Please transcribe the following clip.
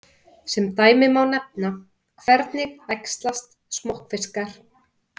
Sem dæmi má nefna: Hvernig æxlast smokkfiskar?